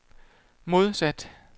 modsat